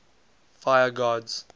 fire gods